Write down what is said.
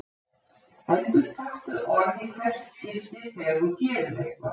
Endurtaktu orð í hvert skipti þegar þú gerir eitthvað.